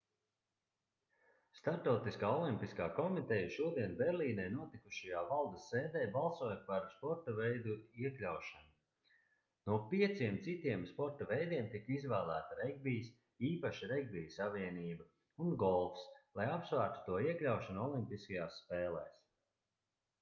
starptautiskā olimpiskā komiteja šodien berlīnē notikušajā valdes sēdē balsoja par sporta veidu iekļaušanu no pieciem citiem sporta veidiem tika izvēlēti regbijs īpaši regbija savienība un golfs lai apsvērtu to iekļaušanu olimpiskajās spēlēs